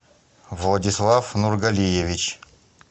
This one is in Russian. владислав нургалиевич